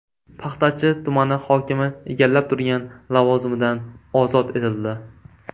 Paxtachi tumani hokimi egallab turgan lavozimidan ozod etildi.